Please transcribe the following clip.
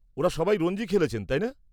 ওঁরা সবাই রঞ্জি খেলেছেন, তাই না?